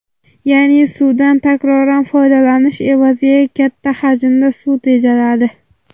Ya’ni, suvdan takroran foydalanish evaziga katta hajmda suv tejaladi.